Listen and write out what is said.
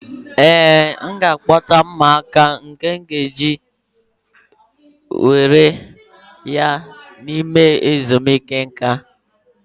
Ee, m ga-akpọta ụmụaka mgbe m ga-aga ileta ya n'ime obodo ezumike nka.